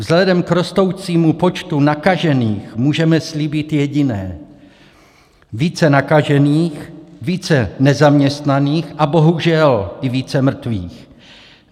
Vzhledem k rostoucímu počtu nakažených můžeme slíbit jediné: více nakažených, více nezaměstnaných a bohužel i více mrtvých.